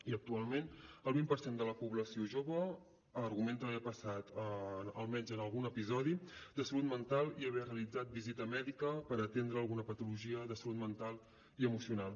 i actualment el vint per cent de la població jove argumenta haver passat almenys algun episodi de salut mental i haver realitzat visita mèdica per atendre alguna patologia de salut mental i emocional